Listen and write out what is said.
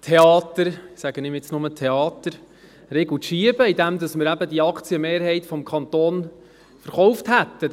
Theater – ich sage dem nur Theater – einen Riegel vorzuschieben, indem wir eben die Aktienmehrheit des Kantons verkauft hätten.